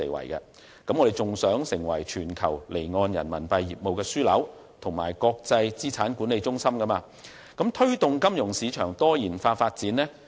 此外，香港亦希望成為全球離岸人民幣業務的樞紐和國際資產管理中心，並推動金融市場的多元化發展。